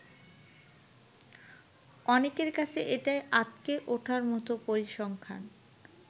অনেকের কাছে এটাই আঁতকে উঠার মতো পরিসংখ্যান।